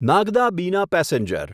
નાગડા બીના પેસેન્જર